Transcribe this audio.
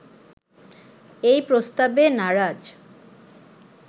এই প্রস্তাবে নারাজ